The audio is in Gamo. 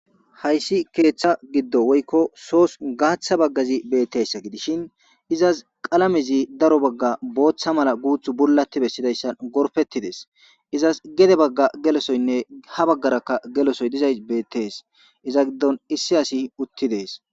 Hays keetha gido woyko sosi gaatha Bagay beetizaysa gidishn izasi qalamezi daro Baga bootha mala guuthu bulati besidaysa gorpetidesi, gede Baga gelosoyinne ha bagaraka gelosoyi dizaysi beetesi , iza giddoni issi asiy utidesi.